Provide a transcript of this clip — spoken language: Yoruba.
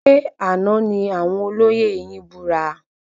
Ṣe àna ní àwọn olóyè yin búra?